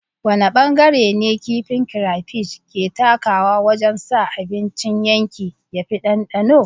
Wane bangare ne kifin crayfish ke takawa wajen sa abincin yanki ya fi ɗanɗano?